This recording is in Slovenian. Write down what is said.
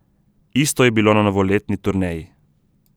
Isto je bilo na novoletni turneji.